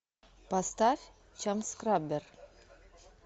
поставь чамскраббер